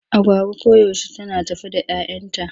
Agwagwa koyaushe tana tafe da 'yayanta.